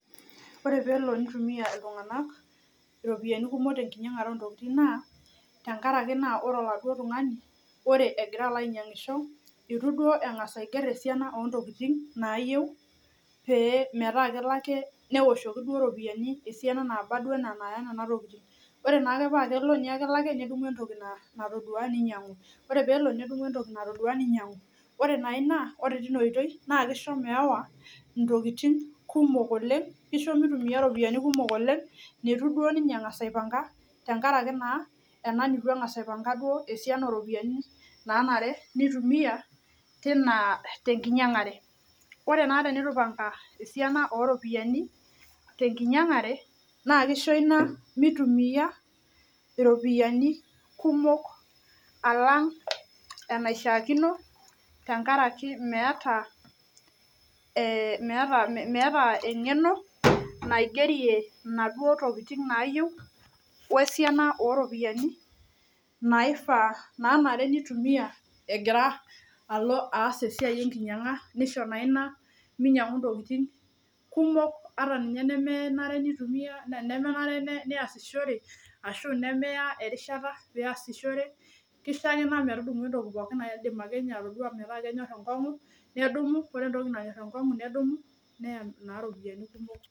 Ore peelo nitumia iltung'anak iropiani kumok te nkinyang'are oo ntokitin naa, tenkaraki naa ore oladuo tung'ani ore egira alo ainyang'isho, itu duo eng'asa alo aiger esiana oo ntokitin naayeu pee metaa kelo ake newoshoki duo ropiani esiana naaba duo enaa naaya nena tokitin. Ore naake paake elo nye ake nedumu entoki natodua ninyang'u, ore peelo nedumu entoki natodua ninyang'u. Ore naa ina ore tina oitoi naake isho meewa ntokitin kumok oleng', kisho mitumia ropiani kumok oleng' nitu duo ninye eng'asa aipang'a tenkaraki naa ena nitu eng'asa aipang'a duo esiana oropiani naanare nitumia tina te nkinyang'are. Ore naa tenitu ipang'a esiana oo ropiani te nkinyang'are, naa kisho ina mitumia iropiani kumok alang' enaishaakino tenkaraki meata ee meata meata eng'eno naigerie inaduo tokitin naayiu we siana oo ropiani naifaa naanare nitumia egira alo aas ina siai enkinyang'a nisho naa ina minyang'u ntokitin kumok ata ninye nemenare nitumia ne nemenare neasishore ashu nemeya erishata peeasishore, kisho ake ina metudumu entoki pookin naidim ake nye atodua metaa kenyor enkong'u nedumu ore entoki nanyor enkong'u nedumu neya naa ropiani kumok.